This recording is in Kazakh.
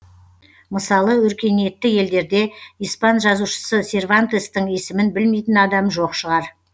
мысалы өркениетті елдерде испан жазушысы сервантестің есімін білмейтін адам жоқ шығар